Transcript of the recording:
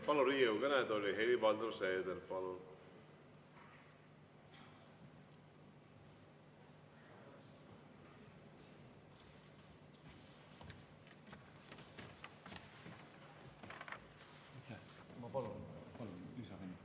Palun Riigikogu kõnetooli, Helir-Valdor Seeder!